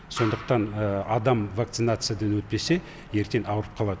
сондықтан адам вакцинациядан өтпесе ертең ауырып қалады